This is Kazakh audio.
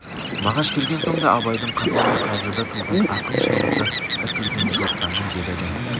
мағаш келген соң да абайдың қапа мен қазада туған ақын шабыты іркілген жоқ дами берді